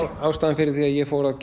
ástæðan fyrir því að ég fór að